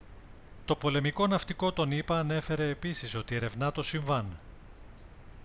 το πολεμικό ναυτικό των ηπα ανέφερε επίσης ότι ερευνά το συμβάν